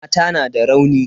Mata na da rauni.